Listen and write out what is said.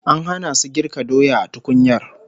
An hana su girka doya a tukunyar